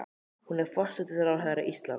Hún er forsætisráðherra Íslands.